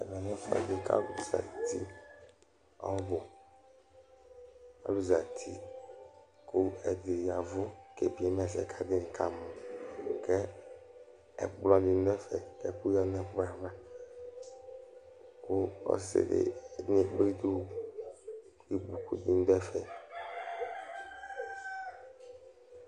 Ɛvɛlɛ lɛ ɛfʋɛɖi kʋ alu zɛti ɔbu Alu zɛti kʋ ɛɖì ɣa avu kebiema ɛsɛ kʋ ataŋi kamɔ Ɛkplɔ ni ɖu ɛfɛ kʋ ɛku ɣaɖu ŋu ɛkplɔ ava Ɔsiɖi ɔkekple itsu kʋ ikpoku ɖi ɖu ɛfɛ